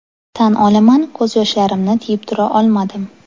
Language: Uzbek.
Tan olaman, ko‘z yoshlarimni tiyib tura olmadim.